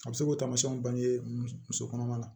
A bɛ se k'o taamasiyɛnw bange muso kɔnɔma la